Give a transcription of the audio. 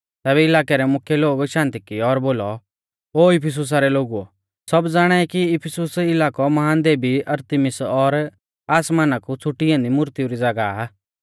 तैबै इलाकै रै मुख्यै लोग शांत किऐ और बोलौ ओ इफिसुसा रै लोगुओ सब ज़ाणाई कि इफिसुस इलाकौ महान देवी अरतिमिस और आसमाना कु छ़ुटी ऐन्दी मूर्तीऊ री ज़ागाह आ